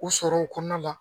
U sɔrɔ o kɔnɔna la